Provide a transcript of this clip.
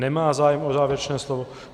Nemá zájem o závěrečné slovo.